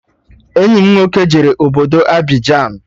Enyi m nwoke jere obodo Abịjan